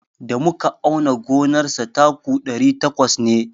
Da muka auna gonar sa taku ɗari takwas ne.